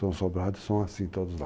São sobrados, são assim todos lá.